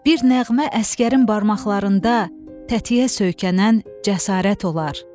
Bir nəğmə əsgərin barmaqlarında tətiyə söykənən cəsarət olar.